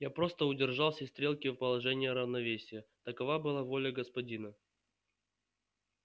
я просто удержал все стрелки в положении равновесия такова была воля господина